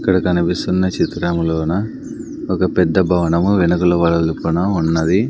ఇక్కడ కనిపిస్తున్న చిత్రంలో నా ఒక పెద్ద భవనము వెనకాల ఉన్నది.